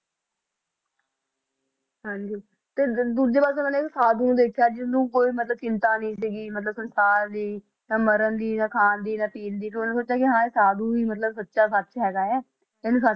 ਹਾਂਜੀ ਤੇ ਅਹ ਦੂਜੇ ਪਾਸੇ ਉਹਨਾਂ ਨੇ ਇੱਕ ਸਾਧੂ ਦੇਖਿਆ ਜਿਹਨੂੰ ਕੋਈ ਮਤਲਬ ਚਿੰਤਾ ਨੀ ਸੀਗੀ ਮਤਲਬ ਸੰਸਾਰ ਦੀ ਨਾ ਮਰਨ ਦੀ ਨਾ ਖਾਣ ਦੀ ਨਾ ਪੀਣ ਦੀ ਤੇ ਉਹਨੇ ਸੋਚਿਆ ਕਿ ਹਾਂ ਇਹ ਸਾਧੂ ਹੀ ਮਤਲਬ ਸੱਚਾ ਸੱਚ ਹੈਗਾ ਹੈ ਇਹਨੂੰ ਸੱਚ